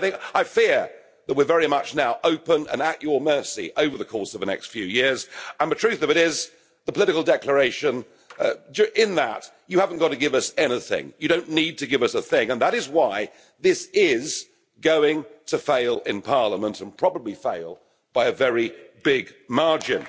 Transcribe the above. But I fear that we're very much now open and at your mercy over the course of the next few years, and the truth of it is, in the political declaration, you haven't got to give us anything. You don't need to give us a thing, and that is why this is going to fail in Parliament, and probably fail by a very big margin.